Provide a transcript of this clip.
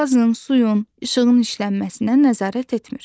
Qazın, suyun, işığın işlənməsinə nəzarət etmir.